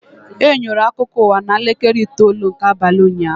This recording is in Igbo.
Enyerọ akụkọ ụwa na elekere itoolu nke abalị ụnyaahụ